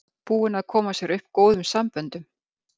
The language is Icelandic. Búinn að koma sér upp góðum samböndum.